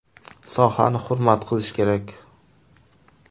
Sohani hurmat qilish kerak.